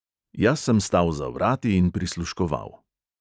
Jaz sem stal za vrati in prisluškoval.